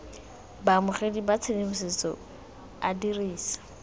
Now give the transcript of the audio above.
baamogedi ba tshedimosetso a dirisa